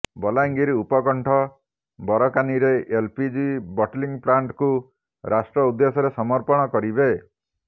ବଲାଙ୍ଗିର ଉପକଣ୍ଠ ବରକାନୀରେ LPG bottling ପ୍ଲାଣ୍ଟକୁ ରାଷ୍ଟ୍ର ଉଦ୍ଦେଶ୍ୟରେ ସମର୍ପଣ କରିବେ